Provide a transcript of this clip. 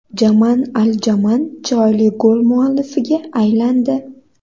Jamaan Al Jamaan chiroyli gol muallifiga aylandi.